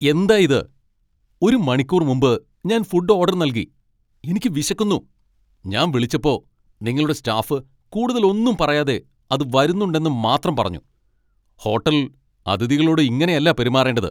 എന്തായിത്? ഒരു മണിക്കൂർ മുമ്പ് ഞാൻ ഫുഡ് ഓഡർ നൽകി, എനിക്ക് വിശക്കുന്നു. ഞാൻ വിളിച്ചപ്പോൾ നിങ്ങളുടെ സ്റ്റാഫ് കൂടുതൽ ഒന്നും പറയാതെ അത് വരുന്നുണ്ടെന്നു മാത്രം പറഞ്ഞു. ഹോട്ടൽ അതിഥികളോട് ഇങ്ങനെയല്ല പെരുമാറേണ്ടത്.